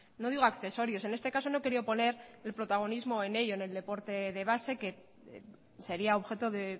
no digo accesorios en este caso no he querido poner el protagonismo en ello en el deporte de base que sería objeto de